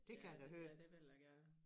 Ja det ja det vil jeg gerne